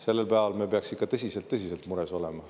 Sellel päeval me peaks ikka tõsiselt mures olema.